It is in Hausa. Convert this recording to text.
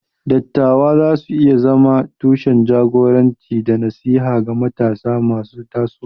Dattawa za su iya zama tushen jagoranci da nasiha ga matasa masu tasowa.